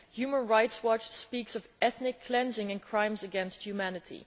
Human Rights Watch speaks of ethnic cleansing and crimes against humanity.